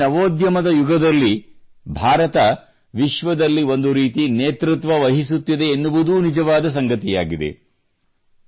ಹಾಗೂ ಈ ನವೋದ್ಯಮದ ಯುಗದಲ್ಲಿ ಭಾರತ ವಿಶ್ವದಲ್ಲಿ ಒಂದು ರೀತಿಯಲ್ಲಿ ನೇತೃತ್ವ ವಹಿಸುತ್ತಿದೆ ಎನ್ನುವುದೂ ನಿಜವಾದ ಸಂಗತಿಯಾಗಿದೆ